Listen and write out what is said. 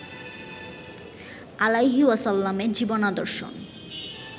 আলাইহি ওয়াসাল্লামের জীবনাদর্শ